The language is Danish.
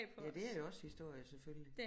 Ja det er jo også historie selvfølgelig